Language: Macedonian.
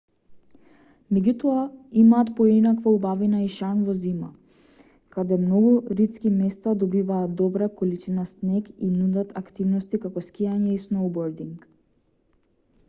меѓутоа имаат поинаква убавина и шарм во зима каде многу ридски места добиваат добра количина снег и нудат активности како скијање и сноубординг